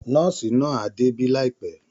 Nọ́ọ̀sì náà á débí láìpẹ́